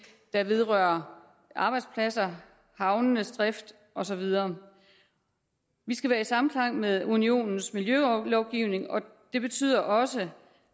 der vedrører arbejdspladser havnenes drift og så videre vi skal være i samklang med unionens miljølovgivning og det betyder også